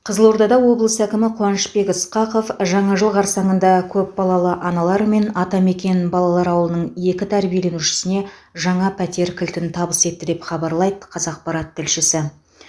қызылордада облыс әкімі қуанышбек ысқақов жаңа жыл қарсаңында көпбалалы аналар мен атамекен балалар ауылының екі тәрбиеленушісіне жаңа пәтер кілтін табыс етті деп хабарлайды қазақпарат тілшісі